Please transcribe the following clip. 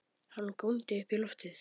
Hann góndi upp í loftið!